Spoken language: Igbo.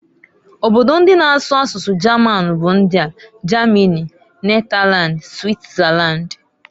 Obodo ndi na asụ asụsụ German bu ndiaː Germany, Netherland, Switzerland.